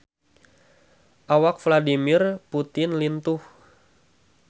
Awak Vladimir Putin lintuh